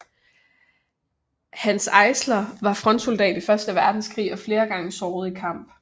Hanns Eisler var frontsoldat i første verdenskrig og flere gange såret i kamp